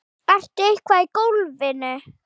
Ertu eitthvað í golfinu?